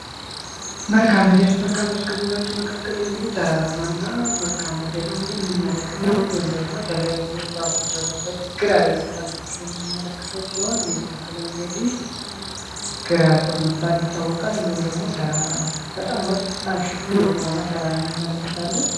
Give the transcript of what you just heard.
መልክዓ ምድር መልክዓ ምድር ከምንላቸው መካከል እንግዲህ ተራራማና መልክዓ ምድር እንመለከታለን ይህም እንግዲ ዛፎች ያሉበት ግራር የሚባል ያለበት ምልክቶች ሲሆን ይህም ተክል እንግዲህ ግራር በመባል ይታወቃል እንዲሁም ደግሞ ተራራ በጣም ወጣገባ የሆነ ተራራ እንመለከታለን።